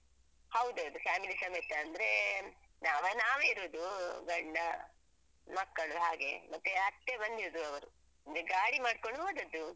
ಹೌದೌದು family ಸಮೇತ ಅಂದ್ರೆ ನಾವ್ ನಾವೇ ಇರುದು ಗಂಡ, ಮಕ್ಕಳು ಹಾಗೆ ಮತ್ತೆ ಅತ್ತೆ ಬಂದಿದ್ರು ಅವರು ಒಂದ್ ಗಾಡಿ ಮಾಡ್ಕೊಂಡು ಹೋದದ್ದು.